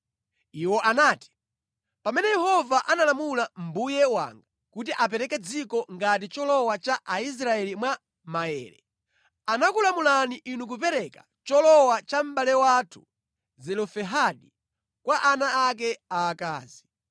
Iwo anati, “Pamene Yehova analamula mbuye wanga kuti apereke dziko ngati cholowa kwa Aisraeli mwa maere, anakulamulani inu kupereka cholowa cha mʼbale wathu Zelofehadi kwa ana ake aakazi.